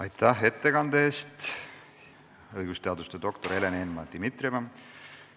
Aitäh ettekande eest, õigusteaduse doktor Helen Eenmaa-Dimitrieva!